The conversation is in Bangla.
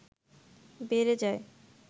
বেড়ে যায়